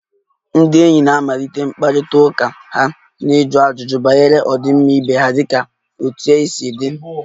Ndị enyi na-amalite mkparịta ụka ha na ịjụ ajụjụ banyere ọdịmma ibe ha dịka 'otú ị si dey'